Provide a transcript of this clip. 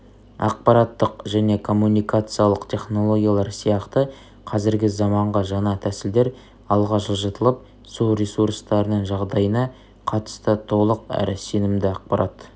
ақпараттық және коммуникациялық технологиялар сияқты қазіргі заманғы жаңа тәсілдер алға жылжытылып су ресурстарының жағдайына қатысты толық әрі сенімді ақпарат